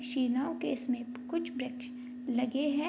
शिनाव केस में कुछ वृक्ष लगे हैं।